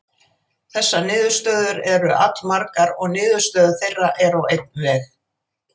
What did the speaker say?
Þessar niðurstöður eru allmargar og niðurstöður þeirra eru á einn veg.